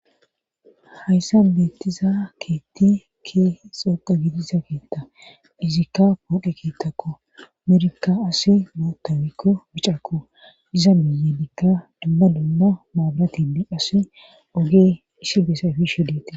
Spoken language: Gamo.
hayssa beettiza keetti ke xooqa gitiza keetta izikka pooqe keettakko mirikka asi mootamikko bicako iza miyadikka dumma dumma maabulatindi asi ogee isi besayfishudeete